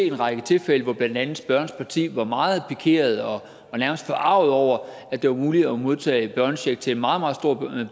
en række tilfælde hvor blandt andet spørgerens parti var meget pikeret og nærmest forarget over at det var muligt at modtage børnecheck til en meget meget stor